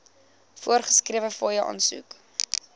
voorgeskrewe fooie aansoek